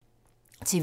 TV 2